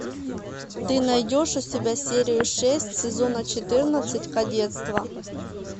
ты найдешь у себя серию шесть сезона четырнадцать кадетство